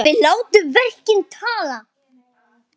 Við látum verkin tala!